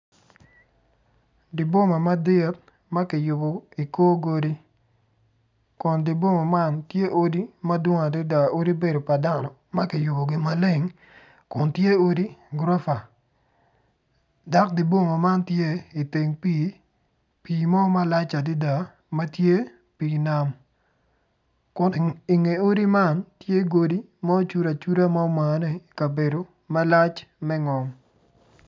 I dyer boma madit makiyubo i kor godi kun dyer boma man tye odi madwong adada odi obedo pa dano makiyubogi maleng kun tye odi guropa dok dibunga motye iteng pi pi mo malac adada matye pi nam kun inge odi man tye odi ma ocudo acuda ki ma omane kabedo malac me ngom.